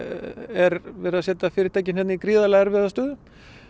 er verið að setja fyrirtækin hérna í gríðalega erfiða stöðu